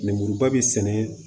Lemuruba bi sɛnɛ